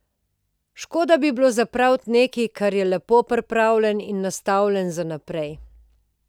Škoda bi bilo zapraviti nekaj, kar je lepo pripravljeno in nastavljeno za naprej.